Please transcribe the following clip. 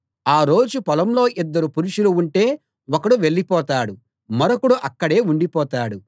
ఆ రోజు పొలంలో ఇద్దరు పురుషులు ఉంటే ఒకడు వెళ్ళిపోతాడు మరొకడు అక్కడే ఉండిపోతాడు